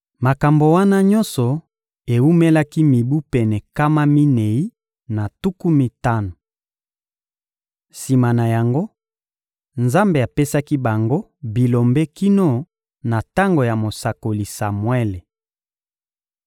Makambo wana nyonso ewumelaki mibu pene nkama minei na tuku mitano. Sima na yango, Nzambe apesaki bango bilombe kino na tango ya mosakoli Samuele.